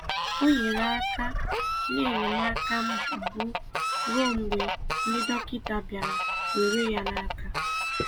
Ọ nyere aka nye enyemaka mbụ ruo mgbe ndị dọkịta bịara were ya n'aka..